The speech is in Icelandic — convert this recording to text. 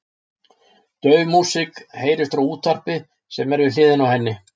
Dauf músík heyrist frá útvarpi sem er við hliðina á henni.